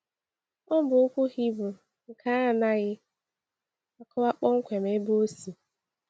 Ọ bụ okwu Hibru nke anaghị akọwa kpọmkwem ebe ọ si.